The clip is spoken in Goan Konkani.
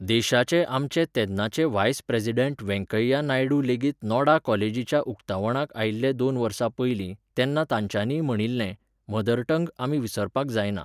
देशाचे आमचे तेन्नाचे व्हायस प्रेजिडेंट व्येंकय्या नायडू लेगीत नोडा कॉलेजीच्या उक्तावणाक आयिल्ले दोन वर्सां पयलीं, तेन्ना तांच्यांनीय म्हणिल्लें, मदरटंग आमी विसरपाक जायना.